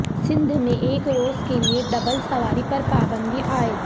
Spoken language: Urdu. سندھ میں ایک روز کیلئے ڈبل سواری پر پابندی عائد